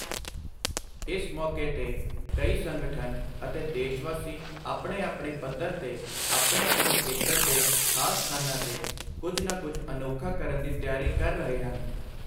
ਇਸ ਮੌਕੇ ਤੇ ਕਈ ਸੰਗਠਨ ਅਤੇ ਦੇਸ਼ਵਾਸੀ ਆਪਣੇ ਆਪਣੇ ਪੱਧਰ ਤੇ ਆਪਣੇ ਆਪਣੇ ਖੇਤਰ ਦੇ ਖਾਸ ਸਥਾਨਾਂ ਤੇ ਕੁਝ ਨਾ ਕੁਝ ਅਨੋਖਾ ਕਰਨ ਦੀ ਤਿਆਰੀ ਕਰ ਰਹੇ ਹਨ।